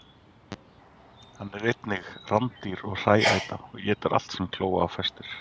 Hann er einnig rándýr og hrææta og étur allt sem kló á festir.